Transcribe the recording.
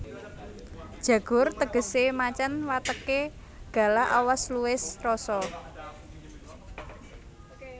Jagur tegesé macan wateké galak awas luwes rosa